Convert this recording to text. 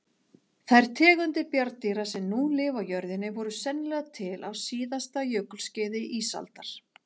Þær tegundir bjarndýra sem nú lifa á jörðinni voru sennilega til á síðasta jökulskeiði ísaldar.